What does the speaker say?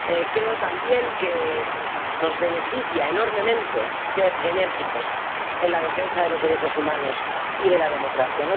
Creo, también, que nos beneficia enormemente ser enérgicos en la defensa de los derechos humanos y de la democracia.